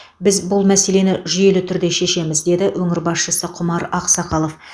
біз бұл мәселені жүйелі түрде шешеміз деді өңір басшысы құмар ақсақалов